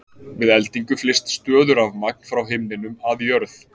Við eldingu flyst stöðurafmagn frá himninum að jörð.